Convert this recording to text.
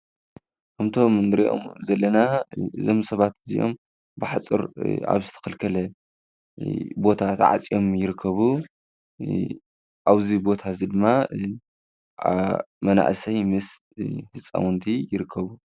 እዚ ምስሊ ኣብ ዝተኸልከለ ሓፁር መናእሰይን ህፃናትን ይረኣዩ።